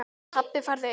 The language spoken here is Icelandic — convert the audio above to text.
Pabbi farðu inn!